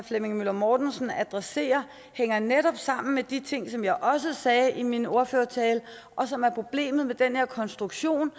flemming møller mortensen adresserer hænger netop sammen med de ting som jeg også sagde i min ordførertale og som er problemet med den her konstruktion